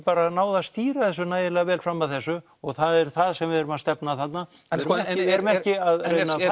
náð að stýra þessu nægilega vel fram að þessu og það er það sem við erum að stefna að þarna við erum ekki að